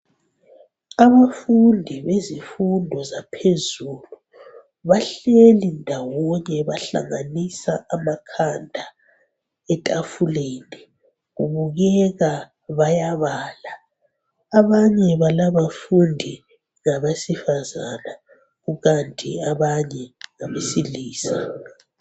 Abafundi bezifundo zaphezulu bahleli ndawonye bahlanganisa amakhanda etafuleni, kubukeka bayabala. Abanye balabafundi ngabesifazana kukanti abanye ngabesilisa.